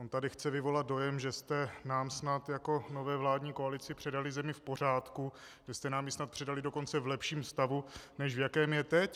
On tady chce vyvolat dojem, že jste nám snad jako nové vládní koalici předali zemi v pořádku, že jste nám ji snad předali dokonce v lepším stavu, než v jakém je teď.